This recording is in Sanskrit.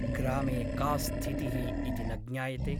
ग्रामे का स्थितिः इति न ज्ञायते ।